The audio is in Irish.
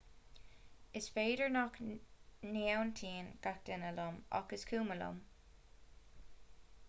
is féidir nach n-aontaíonn gach duine liom ach is cuma liom